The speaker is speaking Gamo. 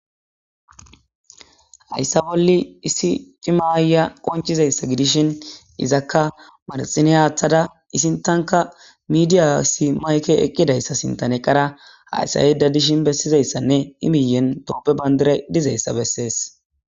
Hayssa bolli issi cimaaya qonchizayssa gidishin izakka madaxine haaththada isintanka midiyasi mayke eqqidayssa sintan eqqara hayssa yeda dishin bessizayssanne imiyen doppe bandira dizayssa bessees.